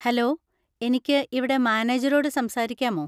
Hello, എനിക്ക് ഇവിടെ മാനേജരോട് സംസാരിക്കാമോ?